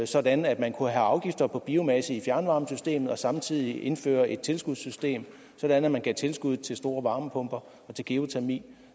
sådan at man kunne have afgifter på biomasse i fjernvarmesystemet og samtidig indføre et tilskudssystem sådan at man gav tilskud til store varmepumper og til geotermi